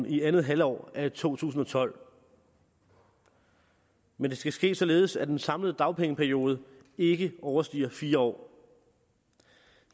i andet halvår af to tusind og tolv men det skal ske således at den samlede dagpengeperiode ikke overstiger fire år